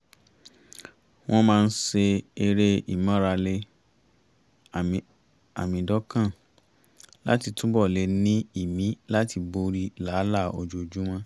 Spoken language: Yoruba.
wọ́n máa ń ṣe eré ìmárale àmídọ́kàn láti túbọ̀ lè ní ìmí láti borí làálàá ojoojúmọ́